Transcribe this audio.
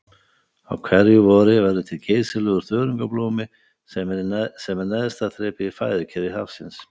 Á hverju vori verður til geysilegur þörungablómi sem er neðsta þrepið í fæðukeðju hafsins.